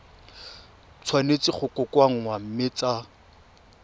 tshwanetse go kokoanngwa mme tsa